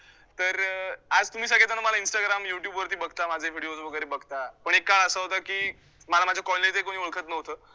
आज तुम्ही सगळे जण मला इन्स्टाग्राम, युट्यूबवरती बघता, माझे videos वैगरे बघता, पण एक काळ असा होता की मला माझ्या colony ही कोणी ओळखतं नव्हतं.